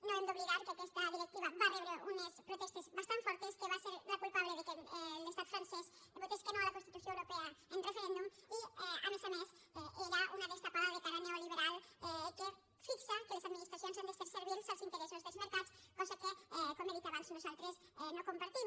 no hem d’oblidar que aquesta directiva va rebre unes protestes bastant fortes que va ser la culpable que l’estat francès votés que no a la constitució europea en referèndum i a més a més era una destapada de cara neoliberal que fixa que les administracions han de ser servils als interessos dels mercats cosa que com he dit abans nosaltres no compartim